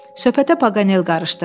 Söhbətə Paqanel qarışdı.